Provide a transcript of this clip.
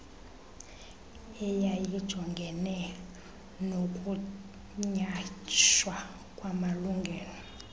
eyayijongene nokunyhashwa kwamalungelo